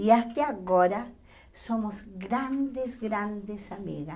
E até agora somos grandes, grandes amigas.